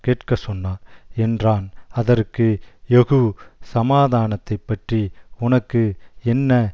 கேட்கச்சொன்னார் என்றான் அதற்கு யெகூ சமாதானத்தைப்பற்றி உனக்கு என்ன